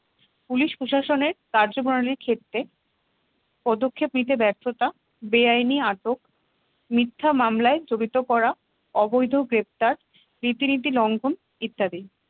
police প্রশাসনের কার্যপ্রণালীর ক্ষেত্রে পদক্ষেপ নিতে ব্যর্থতা বেআইনি আটক মিথ্যা মামলায় জড়িত করা অবৈধ গ্রেপ্তার রীতিনীতি লঙ্ঘন ইত্যাদি